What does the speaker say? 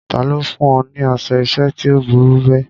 Ta ló fún ọ ní aṣọ ìṣẹ́ tí ó burú bẹ́ẹ̀?